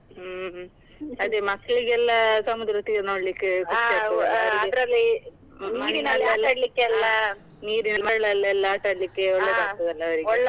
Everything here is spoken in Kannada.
ಹ್ಮ್ ಹ್ಮ್, ಅದೇ ಮಕ್ಳಿಗೆಲ್ಲ ಸಮುದ್ರತೀರ ನೋಡ್ಲಿಕ್ಕೆ . ನೀರಿನ ಮರುಳಲ್ಲಿ ಎಲ್ಲ ಆಟಡ್ಲಿಕ್ಕೆ .